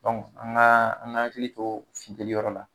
Dɔnku an ga an ga hakili to fiteli yɔrɔ la